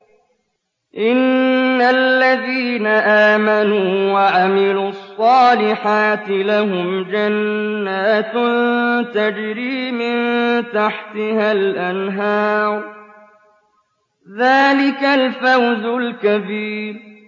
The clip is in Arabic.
إِنَّ الَّذِينَ آمَنُوا وَعَمِلُوا الصَّالِحَاتِ لَهُمْ جَنَّاتٌ تَجْرِي مِن تَحْتِهَا الْأَنْهَارُ ۚ ذَٰلِكَ الْفَوْزُ الْكَبِيرُ